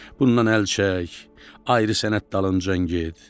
Bundan əl çək, ayrı sənət dalınca get."